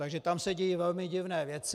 Takže tam se dějí velmi divné věci.